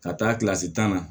Ka taa kilasi tan na